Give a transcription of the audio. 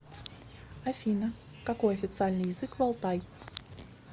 афина какой официальный язык в алтай